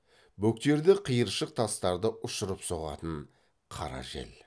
бөктерде қиыршық тастарды ұшырып соғатын қара жел